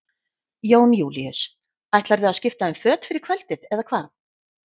Jón Júlíus: Ætlarðu að skipta um föt fyrir kvöldið eða hvað?